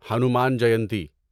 Hanuman Jayanti